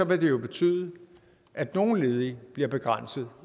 vil det jo betyde at nogle ledige bliver begrænset